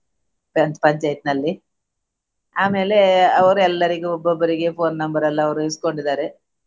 ಗ್ರಾಮ ಪಂಚಾಯತಿನಲ್ಲಿ ಆಮೇಲೆ ಅವರ್ ಎಲ್ಲರಿಗೂ ಒಬ್ಬೊಬ್ಬರಿಗೆ phone number ಎಲ್ಲ ಅವರು ಇಸ್ಕೊಂಡಿದ್ದಾರೆ.